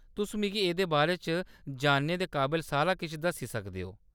तुस मिगी एह्‌‌‌दे बारे च जानने दे काबल सारा किश दस्सी सकदे ओ।